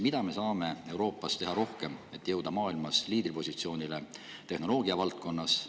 Mida me saame Euroopas rohkem teha, et jõuda maailmas liidripositsioonile tehnoloogiavaldkonnas?